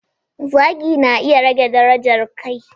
Zagi na iya rage darajar kai.